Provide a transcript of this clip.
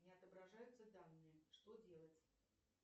не отображаются данные что делать